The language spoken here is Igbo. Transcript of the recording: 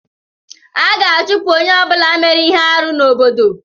A ga-achụpụ onye ọ bụla mere ihe arụ n'obodo.